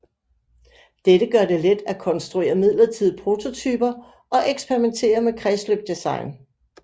Dette gør det let at konstruere midlertidige prototyper og eksperimentere med kredsløbsdesign